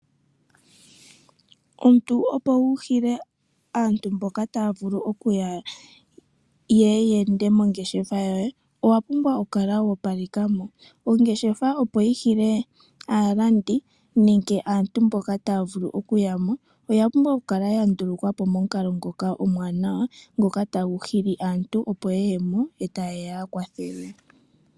Omuntu opo wu hile aantu mboka ta yeya yeende mongeshefa yoye owa pumbwa okukala woopalekamo. Ongeshefa opo yi hile aalandi nenge aantu mboka taya vulu okuyamo oya pumbwa okukala ya ndulukwapo momukalo ngoka omuwanawa ngoka tagu hili aantu opo yeyemo e ta yeya ya kwathelwe.